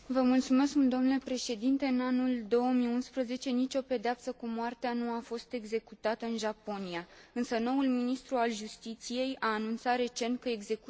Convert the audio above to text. În anul 2011, nicio o pedeapsă cu moartea nu a fost executată în Japonia, însă noul ministru al justiției a anunțat recent că execuțiile s ar putea relua.